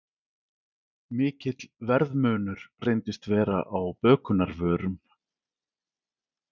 Mikill verðmunur reyndist vera á bökunarvörum